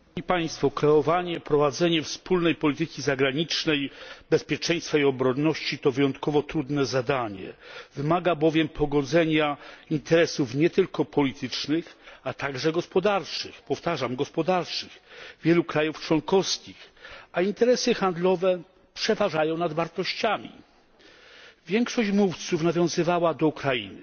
Panie Przewodniczący! Kreowanie i prowadzenie wspólnej polityki zagranicznej, bezpieczeństwa i obronności to wyjątkowo trudne zadanie, wymaga bowiem pogodzenia interesów nie tylko politycznych, ale także gospodarczych wielu krajów członkowskich, a interesy handlowe przeważają nad wartościami. Większość mówców nawiązywała do Ukrainy.